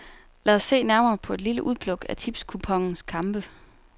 Lad os se nærmere på et lille udpluk af tipskuponens kampe.